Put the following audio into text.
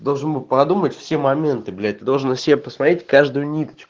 должен был подумать все моменты блять ты должен на себе посмотреть каждую ниточку